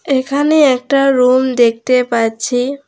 এখানে একটা রুম দেখতে পাচ্ছি।